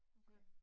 Okay